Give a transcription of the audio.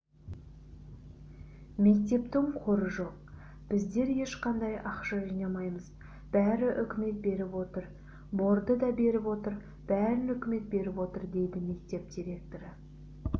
мектептің қоры жоқ біздер ешқандай ақша жинамаймыз бәрі үкімет беріп отыр борды да беріп отыр бәрін үкімет беріп отыр дейді мектеп директоры